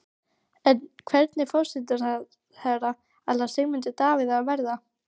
En hvernig forsætisráðherra ætlar Sigmundur Davíð að verða?